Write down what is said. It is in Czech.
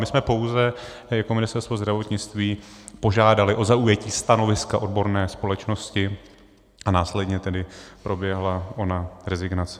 My jsme pouze jako Ministerstvo zdravotnictví požádali o zaujetí stanoviska odborné společnosti a následně tedy proběhla ona rezignace.